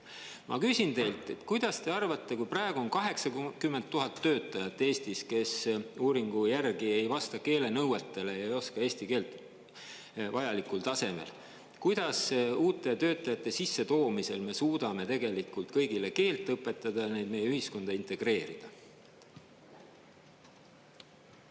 Ma küsin teilt, kuidas te arvate, kui praegu on 80 000 töötajat Eestis, kes uuringu järgi ei vasta keelenõuetele ja ei oska eesti keelt vajalikul tasemel, kuidas uute töötajate sissetoomisel me suudame kõigile keelt õpetada, neid meie ühiskonda integreerida?